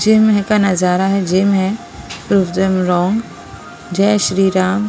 Gym है का नजारा है जिम है रोंग जय श्री राम।